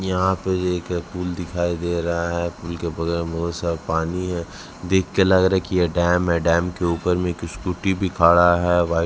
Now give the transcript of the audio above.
यहाँ पर एक पूल दिखाई दे रहा है पूल के बगल में सारा पानी है देख के लग रहा है की ये डैम है डैम के ऊपर में स्कूटी भी खड़ा है व्हाइ --